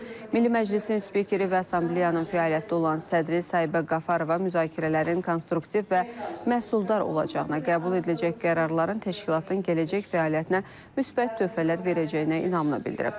Milli Məclisin spikeri və Assambleyanın fəaliyyətdə olan sədri Sahibə Qafarova müzakirələrin konstruktiv və məhsuldar olacağına, qəbul ediləcək qərarların təşkilatın gələcək fəaliyyətinə müsbət töhfələr verəcəyinə inamını bildirib.